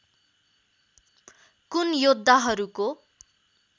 कुन योद्धाहरूको